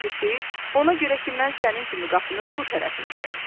Birincisi, ona görə ki, mən sənin kimi qapının bu tərəfindəyəm.